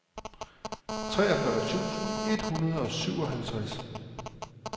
treogfyrre tusind et hundrede og syvoghalvtreds